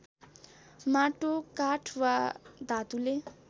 माटो काठ वा धातुले